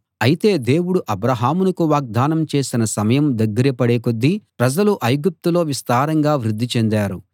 అయితే దేవుడు అబ్రాహాముకు వాగ్దానం చేసిన సమయం దగ్గరపడే కొద్దీ ప్రజలు ఐగుప్తులో విస్తారంగా వృద్ధి చెందారు